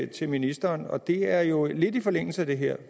til ministeren og det er jo lidt i forlængelse af det her